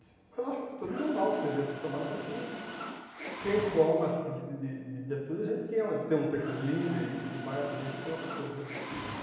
Mas eu acho que é uma atitude normal que deveria ser tomada, só que quem toma esse tipo de de de atitude, a gente tem um perfil de líder e vai à frente e coloca as coisas, e é difícil.